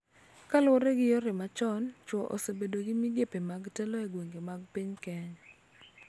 Kaluwore gi yore machon, chwo osebedo gi migepe mag telo e gwenge mag piny Kenya,